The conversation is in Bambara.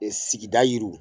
Ɛ sigida yiriw